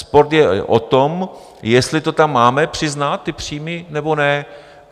Spor je o tom, jestli to tam máme přiznat, ty příjmy, nebo ne.